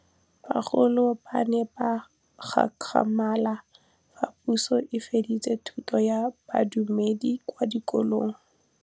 Bagolo ba ne ba gakgamala fa Pusô e fedisa thutô ya Bodumedi kwa dikolong.